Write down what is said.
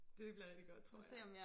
Det bliver rigtig godt tror jeg